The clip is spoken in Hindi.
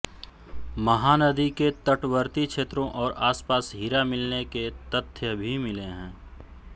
महानदी के तटवर्ती क्षेत्रों और आसपास हीरा मिलने के तथ्य भी मिले हैं